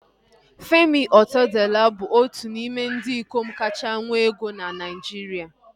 Femi Otedola bụ otu n'ime ndị ikom kachasị nwee ego na Naijiria